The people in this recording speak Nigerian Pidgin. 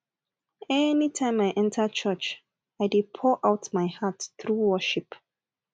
anytime i enter church i dey pour out my heart through worship